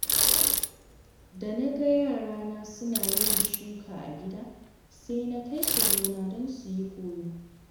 Da na ga yarana suna yin shuka a gida, sai na kai su gona don su yi kallo.